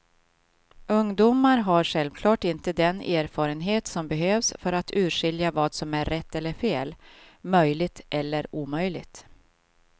Ungdomar har självklart inte den erfarenhet som behövs för att urskilja vad som är rätt eller fel, möjligt eller omöjligt.